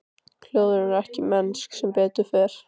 Hljóðin eru ekki mennsk, sem betur fer.